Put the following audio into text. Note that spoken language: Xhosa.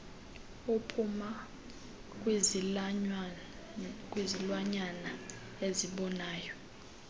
obuphuma kwizilwanyana ezinoboya